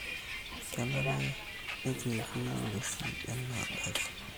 Kenare nituikui nguesin enaa adakee